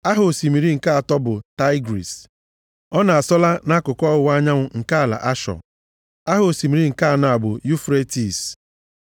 Aha osimiri nke atọ bụ Taịgris. Ọ na-asọla nʼakụkụ ọwụwa anyanwụ nke ala Ashọ. + 2:14 Ashọ na Asịrịa bụ otu ihe Aha osimiri nke anọ bụ Yufretis.